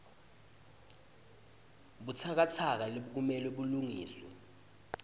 butsakatsaka lokumele bulungiswe